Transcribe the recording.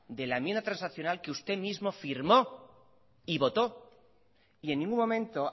de la enmienda transaccional que usted mismo firmó y votó y en ningún momento